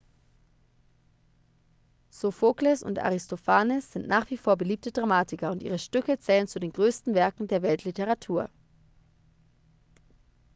sophokles und aristophanes sind nach wie vor beliebte dramatiker und ihre stücke zählen zu den größten werken der weltliteratur